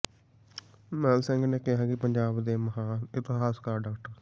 ਮਹਿਲ ਸਿੰਘ ਨੇ ਕਿਹਾ ਕਿ ਪੰਜਾਬ ਦੇ ਮਹਾਨ ਇਤਿਹਾਸਕਾਰ ਡਾ